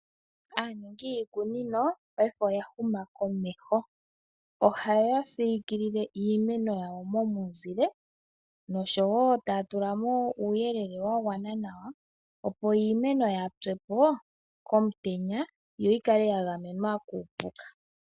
Aaningi yiikunino paife oya huma komeho , ohaya siikilile iimeno yawo momuzile noshowo taya tulamo uuyelele wa gwana nawa opo iimeno yaapyepo komutenya yo yikale ya gamenwa kuupuka.